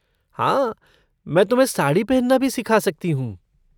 हाँ मैं तुम्हें साड़ी पहनना भी सिखा सकती हूँ।